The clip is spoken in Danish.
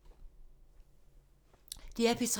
DR P3